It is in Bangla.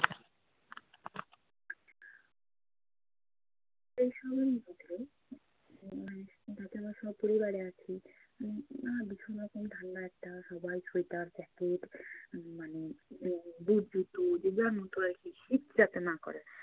এসবের মধ্যে উম দাদারা স্বপরিবারে আছেন। উম আহ ভীষণ রকম ঠান্ডা একটা সবাই sweater jacket মানে উম boot জুতো যে যার মতো আর কী শীত যাতে না করে।